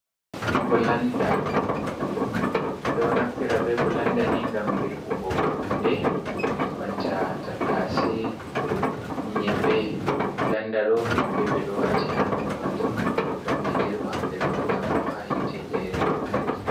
Brlanda, ɓe do naffira be bulanda ni gam dirbugo hunde, banta tattase, nyeɓɓe, bulanda, ɗo nyeɓɓe ɓe ɗo wati ha der majum, ngam ɓe dirba, ɓe ɗo hauta bo ha hite jairi lamtarki.